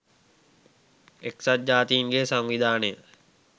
එක්සත් ජාතීන්ගේ සංවිධානය